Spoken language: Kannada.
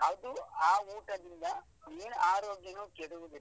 ಅದು ಆ ಊಟದಿಂದ ಮೈನ್ ಆರೋಗ್ಯನೂ ಕೆಡುವುದಿಲ್ಲ.